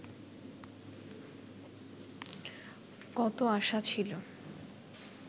কত আশা ছিল